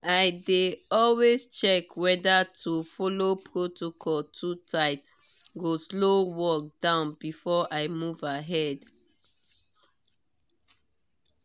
i dey always check whether to follow protocol too tight go slow down work before i move ahead.